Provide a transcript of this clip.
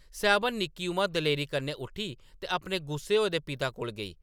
सैह्‌‌‌बन, निक्की उमा दलेरी कन्नै उट्ठी ते अपने गुस्से होए दे पिता कोल गेई ।